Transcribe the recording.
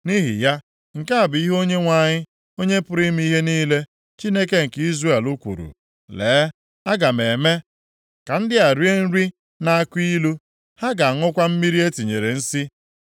Nʼihi ya, nke a bụ ihe Onyenwe anyị, Onye pụrụ ime ihe niile, Chineke nke Izrel kwuru, “Lee, aga m eme ka ndị a rie nri na-akụ ilu. Ha ga-aṅụkwa mmiri e tinyere nsi.